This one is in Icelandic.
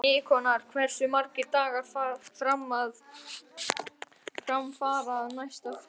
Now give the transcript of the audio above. Nikanor, hversu margir dagar fram að næsta fríi?